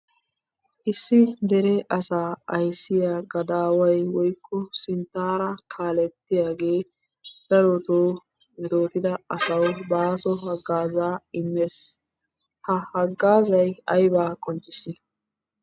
Issi deere asaa ayssiyaa gadaway woykko sinttara kaalettiyagge darotto metotidda asawu baaso hagazza immes. Ha haggazzay aybba qoncissi?